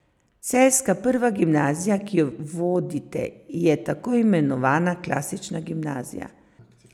Celjska prva gimnazija, ki jo vodite, je tako imenovana klasična gimnazija.